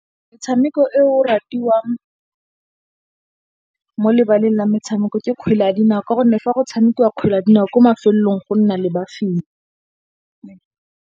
Metshameko e o ratiwang mo lebaleng la metshameko ke kgwele ya dinao. Ka gonne, fa go tshamekiwa kgwele ya dinao ko mafelong go nna le ba fenyi.